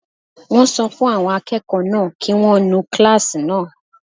Wọ́n sọ fún àwọn akẹ́kọ̀ọ́ náà kí wọ́n nu kílásì náà